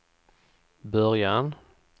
början